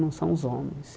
Não são os homens.